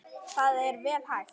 Það er vel hægt.